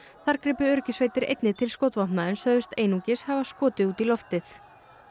þar gripu öryggissveitir einnig til skotvopna en sögðust einungis hafa skotið út í loftið